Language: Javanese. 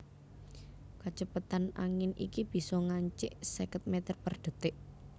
Kacepetan angin iki bisa ngancik seket mèter per dhetik